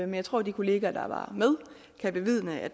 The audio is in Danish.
jeg tror de kolleger der var med kan bevidne at